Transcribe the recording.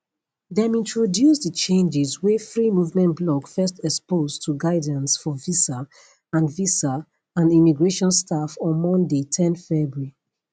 dem introduce di changes wey free movement blog first expose to guidance for visa and visa and immigration staff on monday ten february